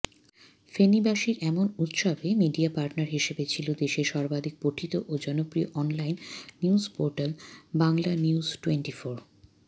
ফেনীবাসীর এমন উৎসবে media partner হিসেবে ছিলো দেশের সর্বাধিক পঠিত ও জনপ্রিয় অনলাইন নিউজপোর্টাল বাংলানিউজটোয়েন্টিফোর